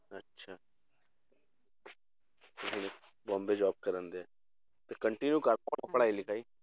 ਅੱਛਾ ਤੇ ਫਿਰ ਬੋਂਬੇ job ਕਰਦੇ ਹੈ, ਫਿਰ continue ਕਰ ਪੜ੍ਹਾਈ ਲਿਖਾਈ।